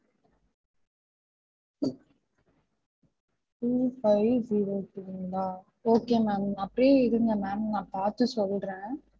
Two five zero two ங்களா okay ma'am அப்பிடியே இருங்க ma'am நான் பாத்து சொல்றன்.